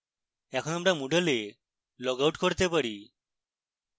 এখন আমরা moodle we log out করতে পারি